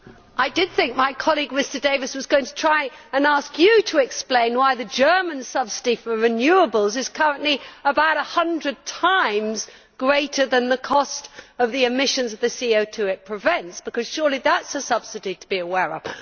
I did think my colleague, Mr Davies, was going to try and ask you to explain why the German subsidy for renewables is currently about a hundred times greater than the cost of the CO emissions it prevents, because surely that is a subsidy to be aware of.